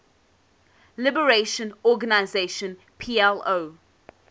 liberation organization plo